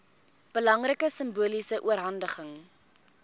belangrike simboliese oorhandiging